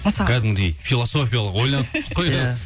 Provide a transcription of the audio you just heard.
мысалы кәдімгідей философиялық ойландық қой иә